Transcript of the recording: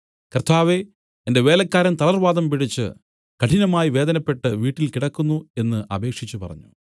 കർത്താവേ എന്റെ വേലക്കാരൻ തളർവാതം പിടിച്ച് കഠിനമായി വേദനപ്പെട്ട് വീട്ടിൽ കിടക്കുന്നു എന്നു അപേക്ഷിച്ചു പറഞ്ഞു